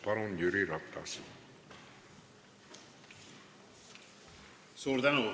Palun, Jüri Ratas!